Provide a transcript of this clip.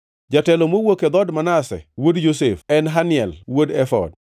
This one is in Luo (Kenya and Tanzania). jatelo mowuok e dhood Manase wuod Josef, en Haniel wuod Efod;